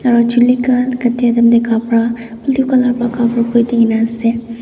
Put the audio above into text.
aro chuli khan cati time tae kapra blue colour pra cover kuridina ase.